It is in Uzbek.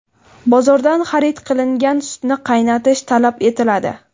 Bozordan xarid qilingan sutni qaynatish talab etiladi.